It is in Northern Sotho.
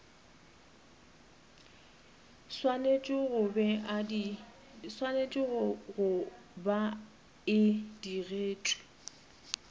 swanetše go ba e digetšwe